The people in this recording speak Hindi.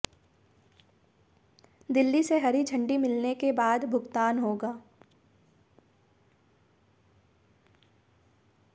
दिल्ली से हरी झंडी मिलने के बाद भुगतान होगा